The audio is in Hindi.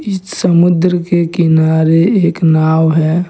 इस समुद्र के किनारे एक नाव है।